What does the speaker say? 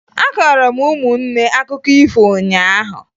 Akọọrọ m ụmụnne akụkọ ifo ụnyaahụ